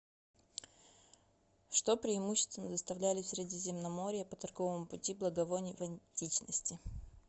что преимущественно доставляли в средиземноморье по торговому пути благовоний в античности